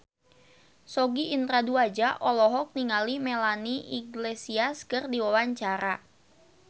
Sogi Indra Duaja olohok ningali Melanie Iglesias keur diwawancara